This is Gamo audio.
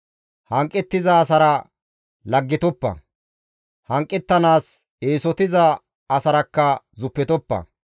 Hanqettiza asara laggetoppa; hanqettanaas eesotiza asarakka zuppetoppa.